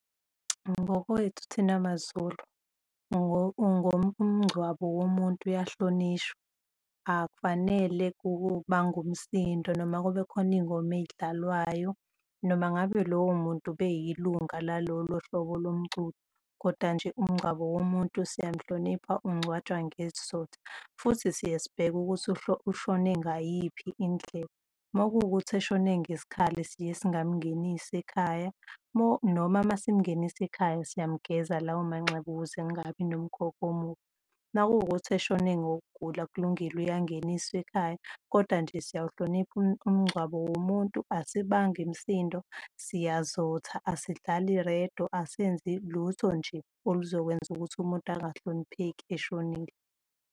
Ngokwethu thina maZulu ngomngcwabo womuntu uyahlonishwa, akufanele kubangwe umsindo noma kube khona iy'ngoma ey'dlalwayo noma ngabe lowo muntu ube yilunga la lolo hlobo lomculo. Kodwa nje umngcwabo womuntu siyamhlonipha, ungcwatshwa ngesizotha futhi siyesibheke ukuthi ushone ngayiphi indlela. Uma kuwukuthi eshone ngesikhali siye singamngenisi ekhaya, noma uma simngenisa ekhaya siyamgeza lawo manxeba ukuze kungabi nomkhokha omubi. Uma kuwukuthi eshone ngokugula kulungile uyangeniswa ekhaya. Kodwa nje siyawuhlonipha umngcwabo womuntu, asibangi misindo, siyazotha, asidlali irediyo, asenzi lutho nje oluzokwenza ukuthi umuntu angahlonipheki eshonile.